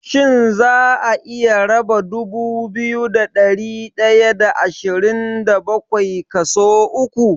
Shin za'a iya raba dubu biyu da ɗari ɗaya da ashirin da bakwai kaso uku?